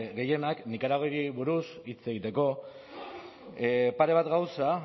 gehienak nikaraguari buruz hitz egiteko pare bat gauza